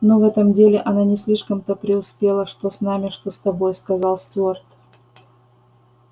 ну в этом деле она не слишком-то преуспела что с нами что с тобой сказал стюарт